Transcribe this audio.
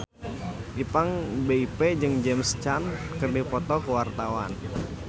Ipank BIP jeung James Caan keur dipoto ku wartawan